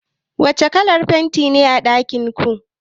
Wace kalar fenti ne a ɗakin ki?